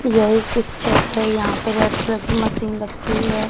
यह एक पिक्चर है यहां पे रेड कलर की मशीन रखी है।